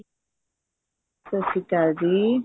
ਸਤਿ ਸ਼੍ਰੀ ਅਕਾਲ ਜੀ